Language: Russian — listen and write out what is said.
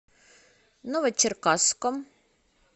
новочеркасском